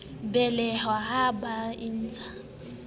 belehwa ha e ba ntshe